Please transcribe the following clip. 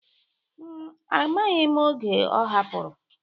m, amaghị oge ọ hapụrụ.?